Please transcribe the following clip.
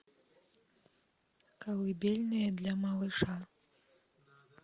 колыбельная для малыша